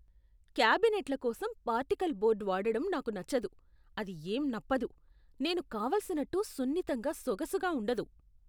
క్యాబినెట్ల కోసం particle board వాడడం నాకు నచ్చదు. అది ఏం నప్పదు, నేను కావలసిన్నట్టు సున్నితంగా, సొగసుగా ఉండదు.